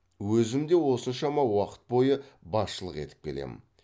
өзім де осыншама уақыт бойы басшылық етіп келемін